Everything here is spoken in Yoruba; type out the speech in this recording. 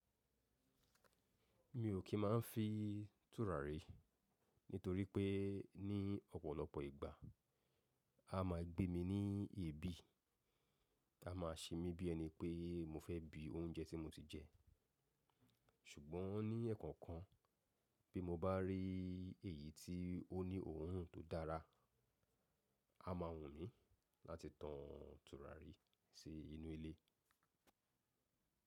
Mi ò kí máa ń fin tùràrí nítorí pé ní ọ̀pọ̀lọpọ̀ ìgbà, a máa gbé mi ní èébì. A máa ṣe mí bí ẹni pé mo fẹ́ bi oúnjẹ tí mo ti jẹ. Ṣùgbọ́n ní ẹ̀ẹ̀kan kan, bí mo bá rí èyí tí ó ní òórùn tó dára, a máa wù mí láti tan tùràrí sí inú ilé.